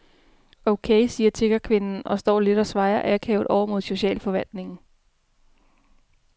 Okay, siger tiggerkvinden og står lidt og svajer akavet over mod socialforvaltningen.